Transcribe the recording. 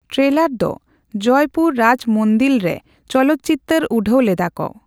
Trailer ᱫᱚ ᱡᱚᱭᱯᱩᱨ ᱨᱟᱡ ᱢᱚᱱᱫᱤᱞᱨᱮ ᱪᱚᱞᱚᱠᱪᱤᱛᱟᱹᱨ ᱩᱰᱟᱹᱣ ᱞᱮᱫᱟᱠᱚ᱾